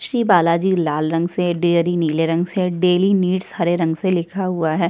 श्री बालाजी लाल रंग से डेरी नीले रंग से डेली नीड्स हरे रंग से लिखा हुआ है।